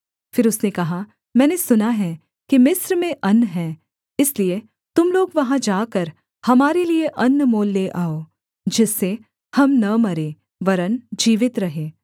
फिर उसने कहा मैंने सुना है कि मिस्र में अन्न है इसलिए तुम लोग वहाँ जाकर हमारे लिये अन्न मोल ले आओ जिससे हम न मरें वरन् जीवित रहें